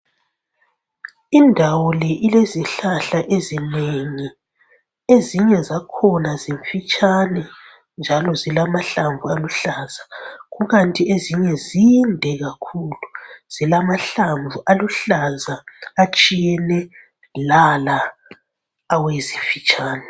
Indawo le ilezihlahla ezinengi. Ezinye zakhona zimfitshane njalo zilamahlamvu aluhlaza. Kukanti ezinye zinde kakhulu zilamahlamvu aluhlaza atshiyene lala awezimfitshane.